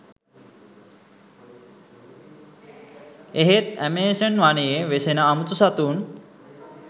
එහෙත් ඇමේසන් වනයේ වෙසෙන අමුතු සතුන්